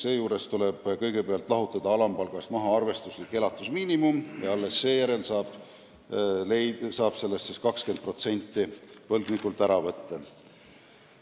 Seejuures tuleb kõigepealt lahutada alampalgast arvestuslik elatusmiinimum ja alles seejärel saab arvutada 20%, mis võib võlgnikult ära võtta.